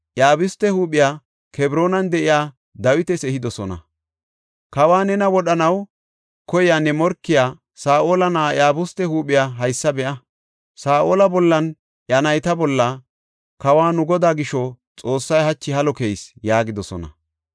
Iyabuste huuphiya Kebroonan de7iya Dawitas ehidosona. Kawa, “Nena wodhanaw koyiya ne morkiya Saa7ola na7aa Iyabuste huuphiya haysa be7a. Saa7ola bollanne iya nayta bolla kawa nu godaa gisho Xoossay hachi halo keyis” yaagidosona.